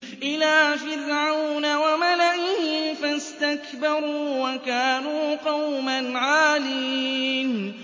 إِلَىٰ فِرْعَوْنَ وَمَلَئِهِ فَاسْتَكْبَرُوا وَكَانُوا قَوْمًا عَالِينَ